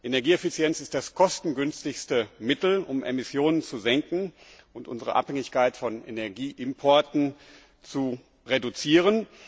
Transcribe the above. Energieeffizienz ist das kostengünstigste Mittel, um Emissionen zu senken und unsere Abhängigkeit von Energieimporten zu reduzieren.